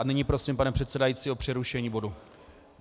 A nyní prosím pana předsedajícího o přerušení bodu.